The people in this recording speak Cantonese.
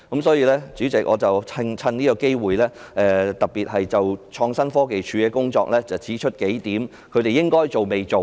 代理主席，我藉此機會就創新科技署的工作提出數個應該要做但未做，以及已做但有待改善之處。